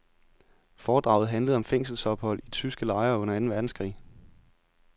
Foredraget handlede om fængselsophold i tyske lejre under anden verdenskrig.